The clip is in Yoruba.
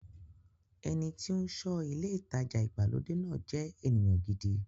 Ẹni tí ó ń ṣọ́ ilé ìtajà ìgbàlódé náà jẹ́ ènìyàn gidi.